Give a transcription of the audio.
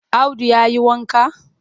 Audu ya yi wanka?